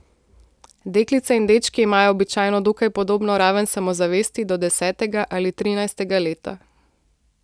Deklice in dečki imajo običajno dokaj podobno raven samozavesti do desetega ali trinajstega leta.